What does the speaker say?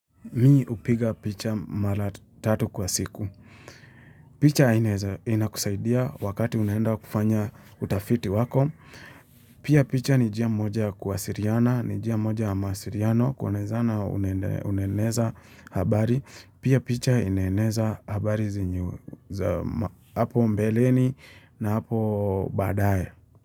Mi hupiga picha mara tatu kwa siku. Picha ina kusaidia wakati unaenda kufanya utafiti wako. Pia picha ni njia moja wa kuasiliana, ni njia moja masiliano, kuwa nezana unaeneza habari. Pia picha inaeneza habari zinye za hapo mbeleni na hapo baadaye.